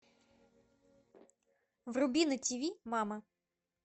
вруби на тиви мама